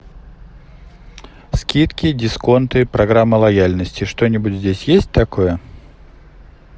скидки дисконты программы лояльности что нибудь здесь есть такое